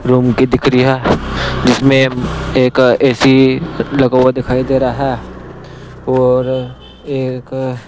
room की दिक री है जिसमें एक ए_सी लगा हुआ दिखाई दे रहा है और एक --